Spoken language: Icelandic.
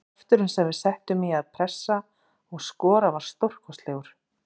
Krafturinn sem við settum í að pressa og skora var stórkostlegur.